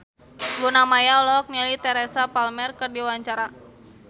Luna Maya olohok ningali Teresa Palmer keur diwawancara